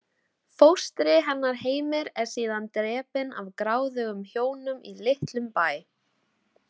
Fóstri hennar Heimir er síðan drepinn af gráðugum hjónum í litlum bæ.